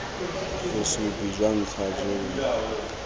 bosupi jwa ntlha jo bo